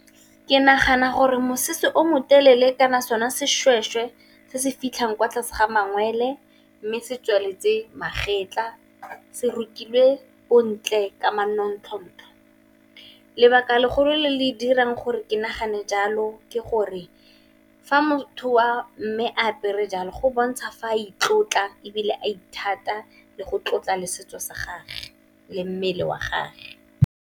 Ke nagana gore mosese o motelele kana sona seshweshwe se se fitlhang kwa tlase ga mangwele, mme se tswaletse magetlha se rukilwe bontle ka manontlhotlho. Lebaka legolo le le dirang gore ke nagane jalo ke gore fa motho a mme apere jalo go bontsha fa a itlotla, ebile a ithatela le go tlotla le setso sa gage le mmele wa gage.